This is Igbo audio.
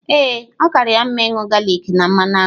Ee, ọ kaara ya mma ịṅụ galik na mmanụ aṅụ.